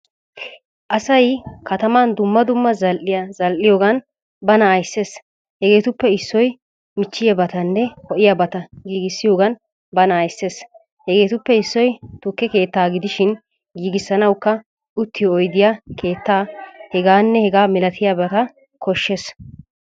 Asay katam dumma dumma zal'iyaa zal'iyogan bana ayssees. Hegetuppe issoy michchiyabatanne ho'iyabata giigisiyogan bana ayssees. Hegetuppe issoy tukke keettaa gidishin giigisanawukka uttiyo oyddiyaa, keettaa h.h.milatiyabata koshshees.